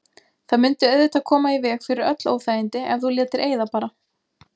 Það mundi auðvitað koma í veg fyrir öll óþægindi ef þú létir eyða bara.